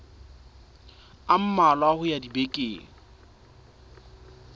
a mmalwa ho ya dibekeng